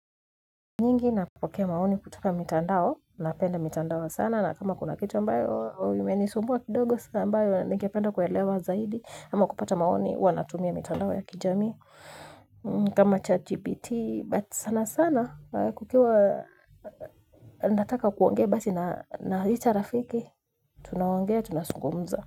Nyingi nakupokea maoni kutoka mitandao napenda mitandao sana na kama kuna kitu ambayo imenisumua kidogo sana ambayo ningependa kuwelewa zaidi ama kupata maoni huwa natumia mitandao ya kijamii kama chagpt but sana sana kukiwa nataka kuongea basi na icha rafiki tunaongea tunasungumza.